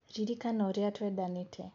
Ririkana ũrĩa twendanĩte